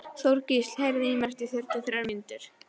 Þorgísl, heyrðu í mér eftir fjörutíu og þrjár mínútur.